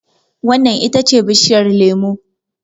wannan ita ce bishiyar lemo!